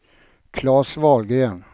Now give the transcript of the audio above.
Claes Wahlgren